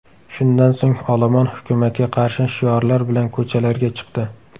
Shundan so‘ng olomon hukumatga qarshi shiorlar bilan ko‘chalarga chiqdi.